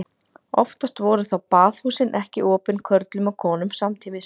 Oftast voru þó baðhúsin ekki opin körlum og konum samtímis.